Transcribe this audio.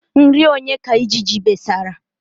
Nri onye ka ijiji besara?